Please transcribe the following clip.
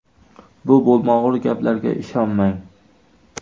Bu bo‘lmag‘ur gaplarga ishonmang.